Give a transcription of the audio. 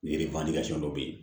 Yiri dɔ bɛ yen